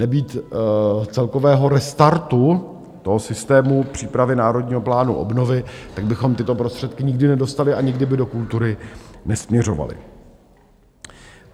Nebýt celkového restartu toho systému přípravy Národního plánu obnovy, tak bychom tyto prostředky nikdy nedostali a nikdy by do kultury nesměřovaly.